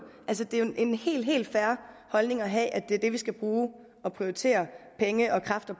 altså det er jo en helt helt fair holdning at have at det er det vi skal bruge og prioritere penge og kræfter